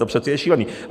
To přece je šílené.